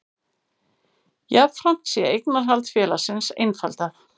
Jafnframt sé eignarhald félagsins einfaldað